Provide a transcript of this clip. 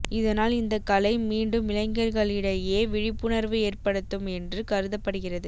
இதனால் இந்த கலை மீண்டும் இளைஞர்களிடையே விழிப்புணர்வு ஏற்படுத்தும் என்று கருதப்படுகிறது